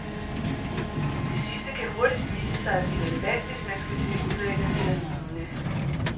Det sidste kan hurtigst vise sig at blive relevant, hvis man skal til udlandet eller lignende.